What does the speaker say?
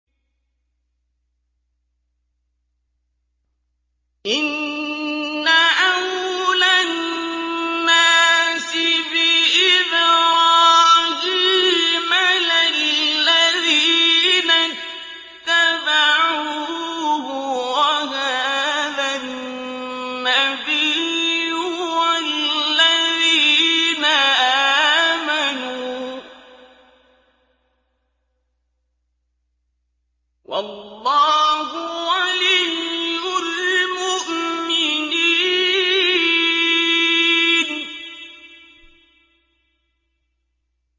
إِنَّ أَوْلَى النَّاسِ بِإِبْرَاهِيمَ لَلَّذِينَ اتَّبَعُوهُ وَهَٰذَا النَّبِيُّ وَالَّذِينَ آمَنُوا ۗ وَاللَّهُ وَلِيُّ الْمُؤْمِنِينَ